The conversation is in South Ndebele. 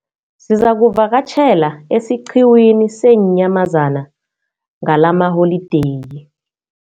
Sizakuvakatjhela esiqhiwini seenyamazana ngalamaholideyi.